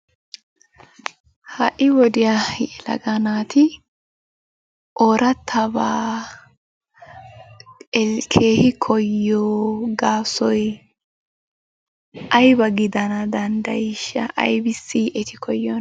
Ha"i wodiya yelaga naati oorattabaa keehi koyyiyo gaasoy ayba gidana danddayiishsha? Aybissi eti koyyiyonaa?